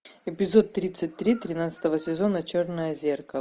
эпизод тридцать три тринадцатого сезона черное зеркало